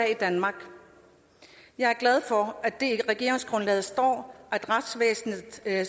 i danmark jeg er glad for at der i regeringsgrundlaget står at retsvæsenet skal